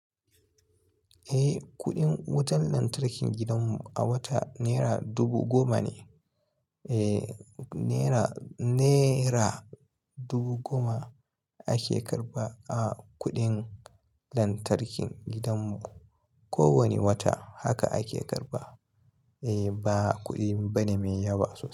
Eh, kuɗin wutar lantarkin gidanmu a wata naira dubu goma ne. Eh, naira dubu goma ake karɓa a kuɗin lantarkin gidanmu. Ko wane wata haka ake karba. Eh, ba kuɗi bane mai yawa.